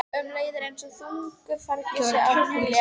Um leið er einsog þungu fargi sé af mér létt.